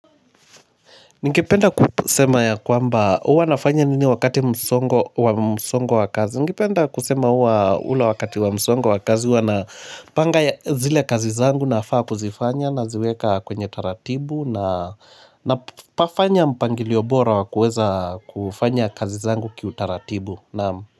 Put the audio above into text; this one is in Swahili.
Ningependa kusema ya kwamba huwa nafanya nini wakati msongo wa msongo wa kazi. Ningependa kusema huwa ule wakati wa msongo wa kazi huwa na panga zile kazi zangu nafaa kuzifanya naziweka kwenye taratibu na na pafanya mpangilio bora wa kuweza kufanya kazi zangu kiutaratibu naam.